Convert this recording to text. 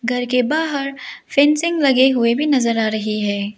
घर के बाहर फेंसिंग लगे हुए भी नजर आ रही है।